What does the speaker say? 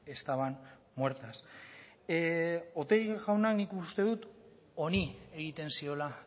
estaban muertas otegi jaunak nik uste dut honi egiten ziola